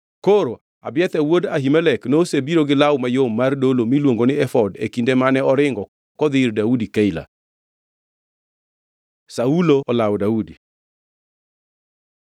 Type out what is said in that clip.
Koro Abiathar wuod Ahimelek nosebiro gi law mayom mar dolo miluongo ni efod e kinde mane oringo kodhi ir Daudi Keila. Saulo olawo Daudi